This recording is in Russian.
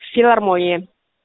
филармонии